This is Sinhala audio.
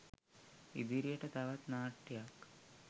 ඉදිරියට තවත් නාට්‍යයක්